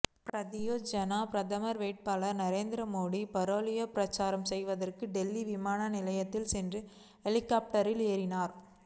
பாரதீய ஜனதா பிரதமர் வேட்பாளர் நரேந்திரமோடி பரேலியில் பிரசாரம் செய்வதற்காக டெல்லி விமான நிலையத்திற்கு சென்று ஹெலிகாப்டரில் ஏறினார்